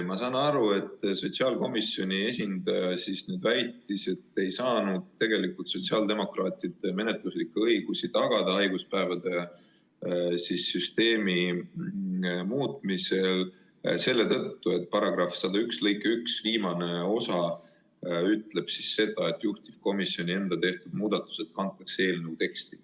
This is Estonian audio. Ma saan aru, et sotsiaalkomisjoni esindaja väitis, et sotsiaaldemokraatide menetluslikke õigusi haiguspäevade süsteemi muutmisel ei saanud tagada selle tõttu, et § 101 lõike 1 viimane osa ütleb, et juhtivkomisjoni enda tehtud muudatused kantakse eelnõu teksti.